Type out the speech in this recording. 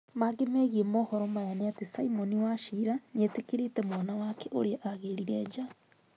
Mangĩ megiĩ mohoro maya nĩ atĩ, Simon Wachira nĩetĩkĩrĩte mwana wake ũria agĩrire nja